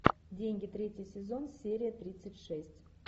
деньги третий сезон серия тридцать шесть